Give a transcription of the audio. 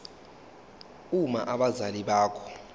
uma abazali bakho